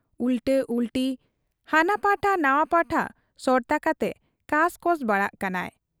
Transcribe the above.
ᱩᱞᱴᱟᱹ ᱩᱞᱴᱤ, ᱦᱟᱱᱟ ᱯᱟᱴᱷᱟ ᱱᱟᱶᱟ ᱯᱟᱴᱷᱟ ᱥᱚᱲᱛᱟ ᱠᱟᱛᱮ ᱠᱟᱸᱥ ᱠᱚᱸᱥ ᱵᱟᱲᱟᱜ ᱠᱟᱱᱟᱭ ᱾